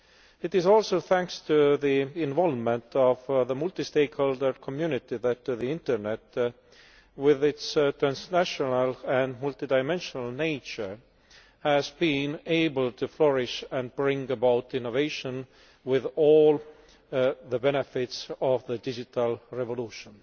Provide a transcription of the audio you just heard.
It is also thanks to the involvement of the multi stakeholder community that the internet, with its transnational and multidimensional nature, has been able to flourish and bring about innovation with all the benefits of the digital revolution.